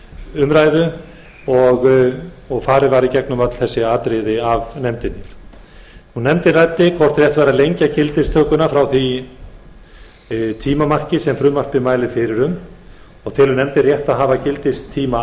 umræðu um frumvarpið farið var í gegnum öll þau atriði af nefndinni nefndin ræddi hvort rétt væri að lengja gildistökuna frá því tímamarki sem frumvarpið mælir fyrir um telur nefndin rétt að hafa gildistíma